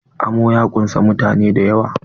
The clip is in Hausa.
Amo ya ƙunsa mutane dayawa.